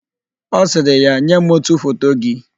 Ọ sịrị ya, "nye m ótù foto gị"!